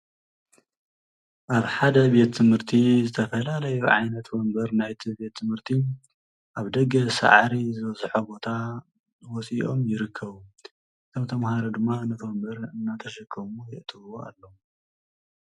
ኣብ ሓደ ቤት ትምህቲ ዝተፈላለዩ ዓይነታት ወንበር ናይቲ ቤት ትምህቲ ኣብ ደገ ሳዕሪ ዝበዝሖ ቦታ ወፅዩ ይርከቡ ካብ ተምሃሮ ድማ ነቲ ወንበር እናተሸከሙ የእትዉዎ ኣለዉ ።